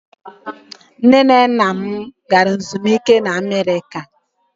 Nne na nna m gara ezumike na America.